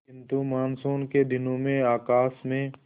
किंतु मानसून के दिनों में आकाश में